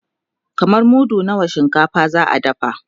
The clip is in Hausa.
kaman mudu nawa na shinkafa za'a dafa?